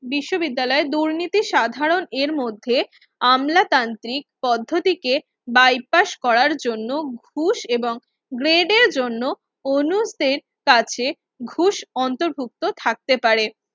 বিশ্ববিদ্যালয়ের দুর্নীতি সাধারন এর মধ্যে আমলা তান্ত্রিক পদ্ধতিকে বাইপাস করার জন্য ঘুষ এবং grade এর জন্য অনুদের কাছে ঘুষ অন্তর্ভুক্ত থাকতে পারে